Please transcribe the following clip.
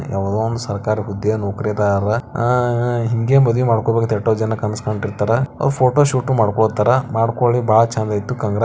ಯಾವುದೊ ಒಂದು ಸರಕಾರಿ ಹುದ್ದೆ ನೌಕರಿ ದಾರ. ಅಹ್ ಹ ಹಿಂಗೇ ಮದುವಿ ಮಾಡ್ಕೋಬೇಕ್ ಅಂತ ಯಾಟ್ಟೂ ಜನಾ ಕನಸ್ ಕಂದಿರ್ತಾರ. ಅವ್ ಫೋಟೋ ಶೂಟ್ ಉ ಮಾಡ್ಕೋತಾರ. ಮಾಡ್ಕೊಳ್ಳಿ ಭಾಳ ಚಂದ್ ಐತಿ. ಕಾಂಗ್ರಾ --